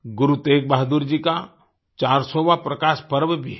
गुरु तेगबहादुर जी का 400वाँ प्रकाश पर्व भी है